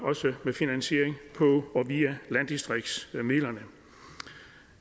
også med finansiering via landdistriktsmidlerne